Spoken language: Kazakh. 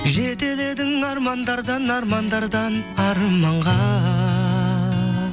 жетеледің армандардан армандардан арманға